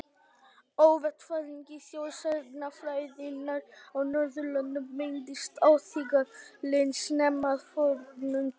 Á vettvangi þjóðsagnafræðinnar á Norðurlöndum beindist athyglin snemma að fornum textum.